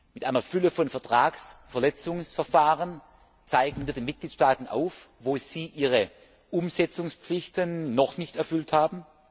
Mit einer Fülle von Vertragsverletzungsverfahren zeigen wir den Mitgliedstaaten auf, wo sie ihre Umsetzungspflichten noch nicht erfüllt haben.